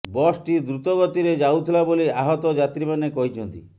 ବସ୍ଟି ଦ୍ରୁତ ଗତିରେ ଯାଉଥିଲା ବୋଲି ଆହତ ଯାତ୍ରୀମାନେ କହିଛନ୍ତି